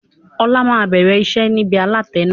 Ọlá máa bẹ̀rẹ̀ iṣẹ́ nibi alatẹ náà.